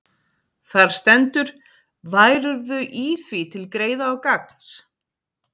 Þar stendur: Værirðu í því til greiða og gagns,